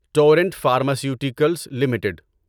torrent Pharmaceuticals limited